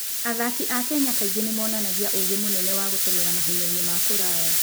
Athaki a Kenya kaingĩ nĩ monanagia ũũgĩ mũnene wa gũteng'era mahenya-inĩ ma kũraya.